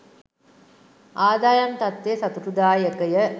ආදායම් තත්ත්වය සතුටුදායකය